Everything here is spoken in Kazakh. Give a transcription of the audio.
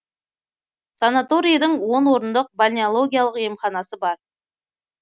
санаторийдің он орындық бальнеологиялық емханасы бар